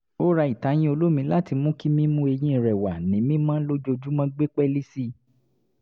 ó ra ìtayín olómi láti mú kí mímú eyín rẹ̀ wà ní mímọ́ lójoojúmọ́ gbé pẹ́ẹ́lí sí i